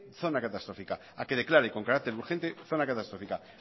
zona catastrófica